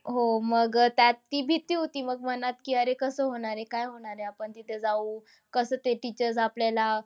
हो मग अह त्यात ती भीती होती. मग मनात की कसं होणार आहे. काय होणार आहे. आपण तिथे जाऊ. कसं ते teachers आपल्याला,